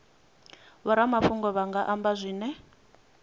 vhoramafhungo vha nga amba zwine